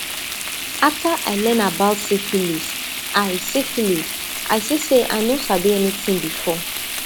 after i learn about syphilis i syphilis i see say i no sabi anything before